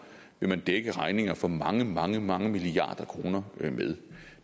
vil man dække regninger for mange mange mange milliarder kroner med